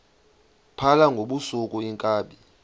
phala ngobusuku iinkabi